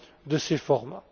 de ces formats.